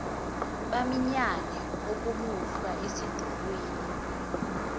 baminyane okomuhlwa esidulini